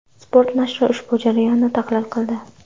Spot nashri ushbu jarayonni tahlil qildi .